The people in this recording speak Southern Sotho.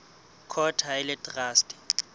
court ha e le traste